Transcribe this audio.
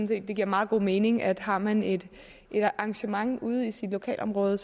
det giver meget god mening at har man et arrangement ude i sit lokalområde